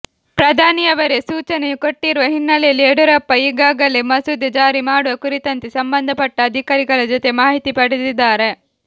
ಪ್ರಧಾನಿಯವರೇ ಸೂಚನೆ ಕೊಟ್ಟಿರುವ ಹಿನ್ನೆಲೆಯಲ್ಲಿ ಯಡಿಯೂರಪ್ಪ ಈಗಾಗಲೇ ಮಸೂದೆ ಜಾರಿ ಮಾಡುವ ಕುರಿತಂತೆ ಸಂಬಂಧಪಟ್ಟ ಅಧಿಕಾರಿಗಳ ಜೊತೆ ಮಾಹಿತಿ ಪಡೆದಿದ್ದಾರೆ